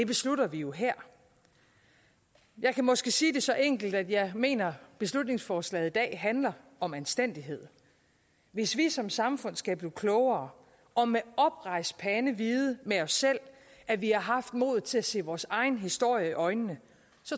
beslutter vi jo her jeg kan måske sige det så enkelt at jeg mener at beslutningsforslaget i dag handler om anstændighed hvis vi som samfund skal blive klogere og med oprejst pande vide med os selv at vi har haft modet til at se vores egen historie i øjnene